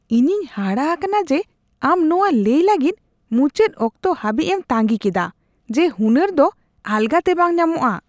ᱤᱧᱤᱧ ᱦᱟᱦᱟᱲᱟ ᱟᱠᱟᱱᱟ ᱡᱮ ᱟᱢ ᱱᱚᱣᱟ ᱞᱟᱹᱭ ᱞᱟᱹᱜᱤᱫ ᱢᱩᱪᱟᱹᱫ ᱚᱠᱛᱚ ᱦᱟᱹᱵᱤᱡ ᱮᱢ ᱛᱟᱸᱜᱤ ᱠᱮᱫᱟ ᱡᱮ ᱦᱩᱱᱟᱹᱨ ᱫᱚ ᱟᱞᱟᱜᱟᱛᱮ ᱵᱟᱝ ᱧᱟᱢᱚᱜᱼᱟ ᱾